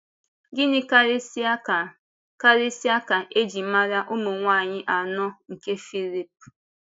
Gịnị kárịsịa ka kárịsịa ka e ji mara ụmụ nwanyị áńọ nke Fílíp?